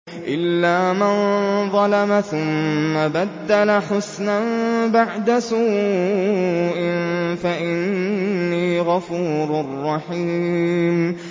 إِلَّا مَن ظَلَمَ ثُمَّ بَدَّلَ حُسْنًا بَعْدَ سُوءٍ فَإِنِّي غَفُورٌ رَّحِيمٌ